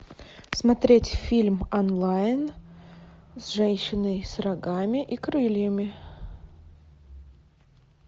смотреть фильм онлайн с женщиной с рогами и крыльями